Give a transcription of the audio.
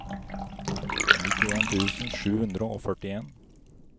nittien tusen sju hundre og førtien